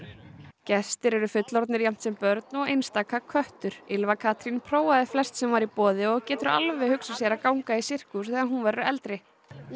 gestir eru fullorðnir jafnt sem börn og einstaka köttur Ylfa Katrín prófaði flest sem var í boði og getur alveg hugsað sér að ganga í sirkus þegar hún verður eldri ég